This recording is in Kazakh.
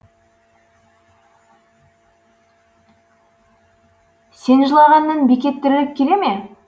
сен жылағаннан бекет тіріліп келе ме